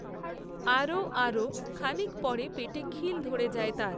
আরও... আরও..খানিক পরে পেটে খিল ধরে যায় তার।